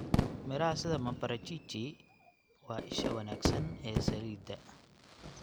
Miraha sida maparachichi waa isha wanaagsan ee saliidda.